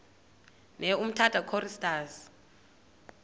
ne umtata choristers